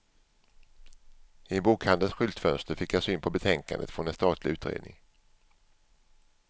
I en bokhandels skyltfönster fick jag syn på betänkandet från en statlig utredning.